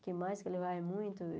O que mais que ele vai muito?